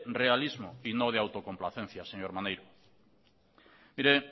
realismo y no de autocomplacencia señor maneiro mire